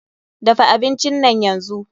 Dafa abinci nan yanzu!